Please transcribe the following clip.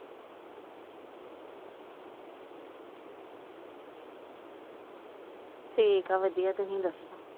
ਠੀਕ ਏ ਵਧੀਆ ਤੁਸੀਂ ਦੱਸੋ।